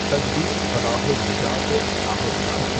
تدبیر فلاح و نجات و اصلاح رسالہ